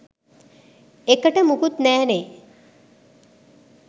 එකට මුකුත් නැනේ